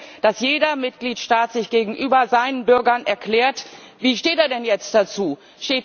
Wir wollen, dass jeder Mitgliedstaat sich gegenüber seinen Bürgern erklärt, wie er denn dazu steht?